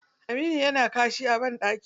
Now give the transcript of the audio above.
Aminu yana kashi a ɓandaki.